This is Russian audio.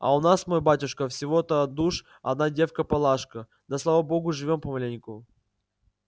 а у нас мой батюшка всего-то душ одна девка палашка да слава богу живём помаленьку